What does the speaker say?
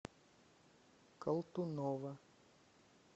колтунова